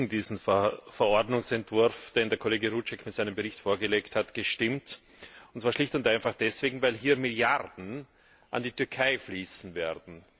Ich habe gegen diesen Verordnungsentwurf, den der Kollege Rouček mit seinem Bericht vorgelegt hat, gestimmt, und zwar schlicht und einfach deswegen, weil hier Milliarden an die Türkei fließen werden.